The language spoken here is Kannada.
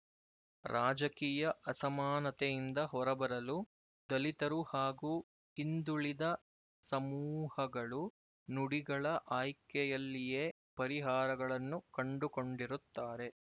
ರಾಜಕೀಯ ಅಸಮಾನತೆಯಿಂದ ಹೊರಬರಲು ದಲಿತರು ಹಾಗೂ ಹಿಂದುಳಿದ ಸಮೂಹಗಳು ನುಡಿಗಳ ಆಯ್ಕೆಯಲ್ಲಿಯೇ ಪರಿಹಾರಗಳನ್ನು ಕಂಡುಕೊಂಡಿರುತ್ತಾರೆ